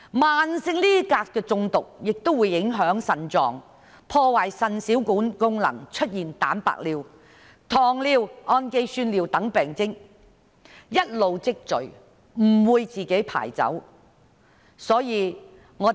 慢性鎘中毒亦會影響腎臟，破壞腎小管功能，出現蛋白尿、糖尿、胺基酸尿等病徵，一直積聚，不能自動排出。